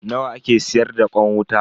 Nawa ake siyar da kwan wuta?